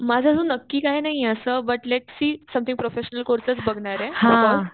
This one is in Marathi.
माझं अजून नक्की काही नाहीये असं 03:36:021English03:38:110 बघणारे.